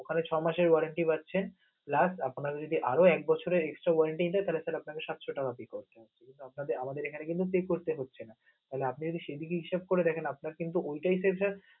এখানে ছয় মাসের orentry পাচ্ছেন, plus আপনার যদি আরও এক বছরের extra orentry লাগেতাহলে আপনাকে সাতশ টাকাদিতে হবে. তালে আপনাকে কিন্তু এখানে pay করতে হচ্ছে না তালে আপনে যদি সেদিকে হিসেব করে দেখেন আপন্রে কিন্তু ওইটাই